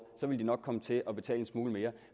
ville de nok komme til at betale en smule mere